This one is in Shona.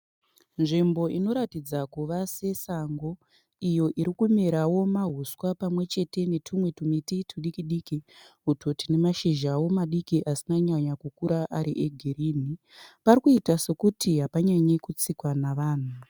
Nzvimbo inoratidza kuva sesango , iyo irikumerawo mahuswa pamwechete netumwe tumiti tudikidiki uto tune mashizhawo madiki asina kunyanya kukura ari e girinhi. Parikuita se kuti hapanyanye kutsikwa navanhu.